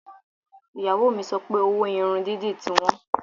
Ìyàwó mi sọ pé owó irun dídì ti wọ́n